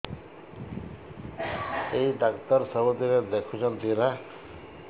ଏଇ ଡ଼ାକ୍ତର ସବୁଦିନେ ଦେଖୁଛନ୍ତି ନା